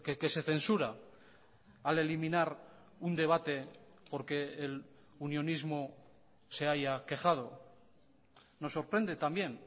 que se censura al eliminar un debate porque el unionismo se haya quejado nos sorprende también